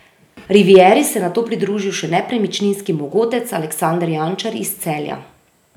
Rivieri se je nato pridružil še nepremičninski mogotec Aleksander Jančar iz Celja.